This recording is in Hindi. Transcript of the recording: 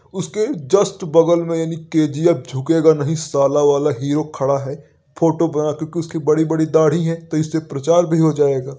उसके जस्ट बगल मे यानि के.जी.एफ. झुकेगा नहीं साला वाला हीरो खड़ा है। फोटो बना है क्योंकि उसकी बड़ी-बड़ी दाढ़ी है तो इससे प्रचार भी हो जाएगा।